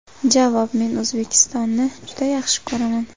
Javob: Men O‘zbekistonni juda yaxshi ko‘raman.